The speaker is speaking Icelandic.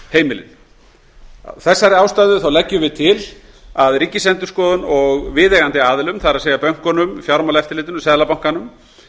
heimilin af þessari ástæðu leggjum við til að ríkisendurskoðun og viðeigandi aðilum bönkunum fjármálaeftirlitinu og seðlabankanum